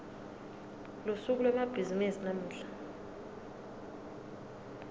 lusuku lwemabhizimisi lamuhla